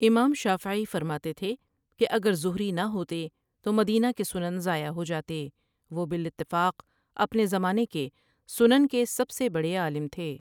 امام شافعی فرماتے تھے کہ اگر زہری نہ ہوتے تو مدینہ کے سنن ضائع ہوجاتے وہ بالاتفاق اپنے زمانہ کے سنن کے سب سے بڑے عالم تھے ۔